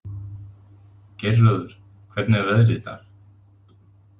Geirröður, hvernig er veðrið í dag?